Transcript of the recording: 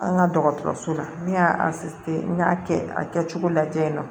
An ka dɔgɔtɔrɔso la ne y'a n y'a kɛ a kɛcogo lajɛ